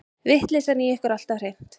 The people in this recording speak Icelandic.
Vitleysan í ykkur alltaf hreint.